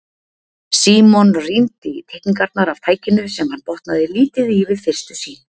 Símon rýndi í teikningarnar af tækinu sem hann botnaði lítið í við fyrstu sýn.